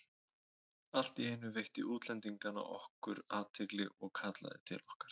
Allt í einu veitti einn útlendinganna okkur athygli og kallaði til okkar.